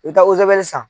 I bɛ taa san